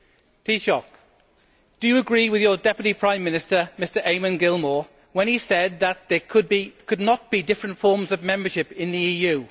Taoiseach, do you agree with your Deputy Prime Minister, Mr Eamon Gilmore, when he said that there could not be different forms of membership in the EU?